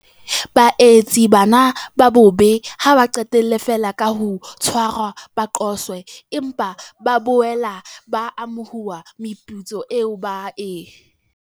Baetsi bana ba bobe ha ba qetelle feela ka ho tshwarwa ba qoswe, empa ba boela ba amohuwa meputso eo ba e.